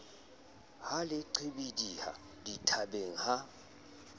ha le qhibidiha dithabeng ha